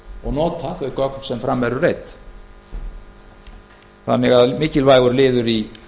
og nota þau gögn sem fram eru reidd þannig að mikilvægur liður í